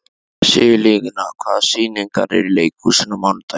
Sigurlína, hvaða sýningar eru í leikhúsinu á mánudaginn?